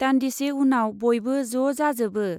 दान्दिसे उनाव बयबो ज' जाजोबो।